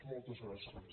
moltes gràcies